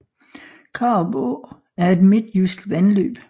Karup Å er et midtjysk vandløb